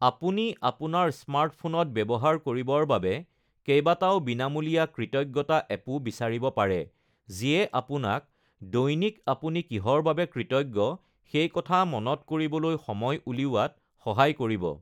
আপুনি আপোনাৰ স্মাৰ্টফোনত ব্যৱহাৰ কৰিবৰ বাবে কেইবাটাও বিনামূলীয়া কৃতজ্ঞতা এপো বিচাৰিব পাৰে, যিয়ে আপোনাক দৈনিক আপুনি কিহৰ বাবে কৃতজ্ঞ সেই কথা মনত কৰিবলৈ সময় উলিওৱাত সহায় কৰিব।